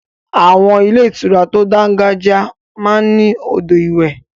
Àwọn ilé ìtura tó dángájiá máa ń ní odò ìwẹ̀.